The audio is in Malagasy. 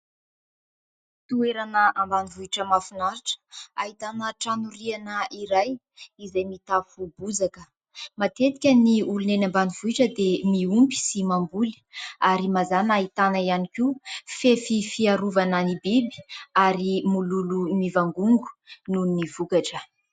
Toerana ambanivohitra mahafinaritra. Ahitana trano riana iray, izay mitafo bozaka. Matetika ny olona eny ambanivohitra dia miompy sy mamboly ; ary mazàna ahitana ihany koa fefy fiarovana ny biby, ary mololo mivangongo noho ny vokatra.